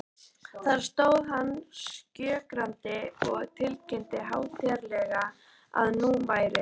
Þar stóð hann skjögrandi og tilkynnti hátíðlega, að nú væri